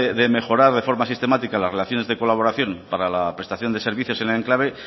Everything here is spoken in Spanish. de mejorar de forma sistemática las relaciones de colaboración para la prestación de servicios en el enclave